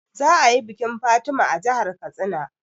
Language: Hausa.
Za a yi bikin Fatima a jahar Katsina